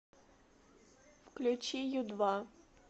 включи ю два